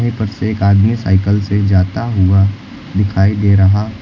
ऊपर से एक आदमी साइकल से जाता हुआ दिखाई दे रहा--